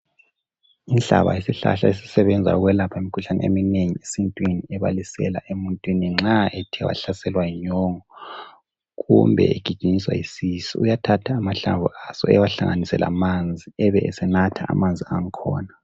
inhlaba yisihlahla esisebenza ukwelapha imikhuhlane eminengi esintwini ebalisela emuntwini nxa ethe wahlaselwa yinyongo kume egijinyiswa yisisu uyathatha amahlamvu aso ahlanganise lamanzi ebe esenatha amanzi angkhona